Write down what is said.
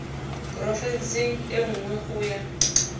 porofenseng e nngwe go ya